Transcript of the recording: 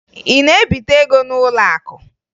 Ị na-ebite ego n'ụlọakụ?